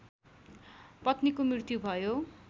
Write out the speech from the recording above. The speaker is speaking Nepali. पत्नीको मृत्यु भयो